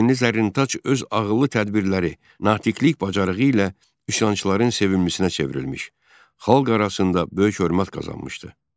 Qəzvinli Zərrintaç öz ağıllı tədbirləri, natiqlik bacarığı ilə üsyançıların sevimlisinə çevrilmiş, xalq arasında böyük hörmət qazanmışdı.